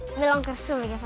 mig langar að